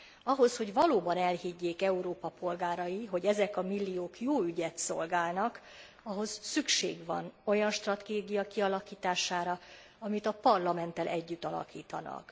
Ahhoz, hogy valóban elhiggyék Európa polgárai, hogy ezek a milliók jó ügyet szolgálnak, ahhoz szükség van olyan stratégia kialakítására, amit a Parlamenttel együtt alakítanak.